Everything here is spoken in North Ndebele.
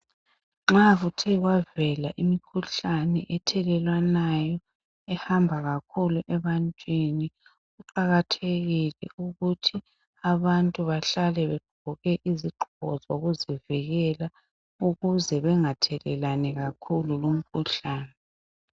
Nxa kuthe kwavela imikhuhlane ethelelwanayo ehamba kakhulu ebantwini, kuqakathekile ukuthi abantu behlale begqoke izigqoko zokuzivikela ukuze bengathelelani kakhulu lumkhuhlane.